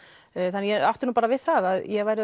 þannig ég átti bara við það að ég væri